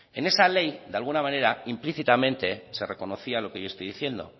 en esa ley de alguna manera implícitamente se reconocía lo que yo estoy diciendo